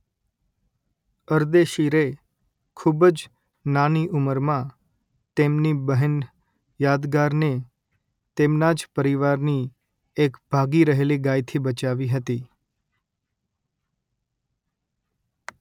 અરદેશીરે ખૂબ જ નાની ઉમરમાં તેમની બહેન યાદગારને તેમના જ પરિવારની એક ભાગી રહેલી ગાયથી બચાવી હતી